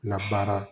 Labaara